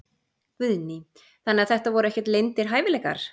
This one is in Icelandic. Guðný: Þannig að þetta voru ekkert leyndir hæfileikar?